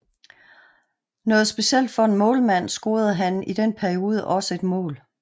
Noget specielt for en målmand scorede han i den periode også ét mål